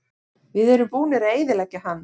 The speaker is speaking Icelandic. Við erum búnir að eyðileggja hann.